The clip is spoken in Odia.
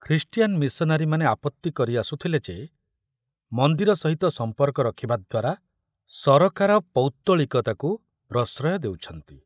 ଖ୍ରୀଷ୍ଟିଆନ ମିଶନାରୀମାନେ ଆପତ୍ତି କରି ଆସୁଥିଲେ ଯେ ମନ୍ଦିର ସହିତ ସମ୍ପର୍କ ରଖିବା ଦ୍ୱାରା ସରକାର ପୌତ୍ତଳିକତାକୁ ପ୍ରଶ୍ରୟ ଦେଉଛନ୍ତି।